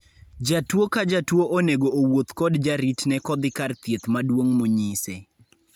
Jatuo ka jatuo onego owuoth kod jaritne kodhi kar thieth maduong' monyise